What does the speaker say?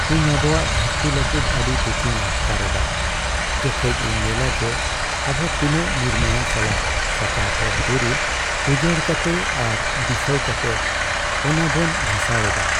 ᱤᱧ ᱟᱵᱚᱣᱟᱜ ᱫᱷᱟᱹᱛᱤ ᱞᱟᱹᱜᱤᱫ ᱟᱹᱰᱤ ᱫᱩᱠᱤᱧ ᱟᱴᱠᱟᱨ ᱮᱫᱟ ᱡᱚᱠᱷᱮᱡ ᱤᱧ ᱧᱮᱞᱟ ᱡᱮ ᱟᱵᱚ ᱛᱤᱱᱟᱹᱜ ᱱᱤᱨᱢᱟᱭᱟ ᱥᱟᱞᱟᱜ ᱥᱟᱪᱟᱨᱦᱮᱫ ᱫᱩᱨᱤᱵᱽ ᱩᱡᱟᱹᱲ ᱠᱟᱛᱮ ᱟᱨ ᱵᱤᱥᱟᱹᱣ ᱠᱟᱛᱮ ᱚᱱᱟᱵᱚᱱ ᱫᱷᱟᱥᱟᱣ ᱮᱫᱟ ᱾